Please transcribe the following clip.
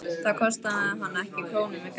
Það kostaði hana ekki krónu með grænu gati.